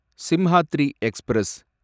Simhadri express